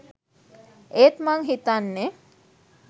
ඒත් මං හිතන්නෙ